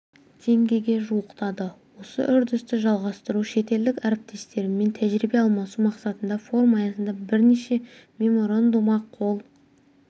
теңгеге жуықтады осы үрдісті жалғастыру шетелдік әріптестерімен тәжірибе алмасу мақсатында форум аясында бірнеше меморандумға қол